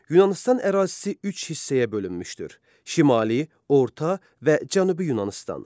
Yunanıstan ərazisi üç hissəyə bölünmüşdür: Şimali, Orta və Cənubi Yunanıstan.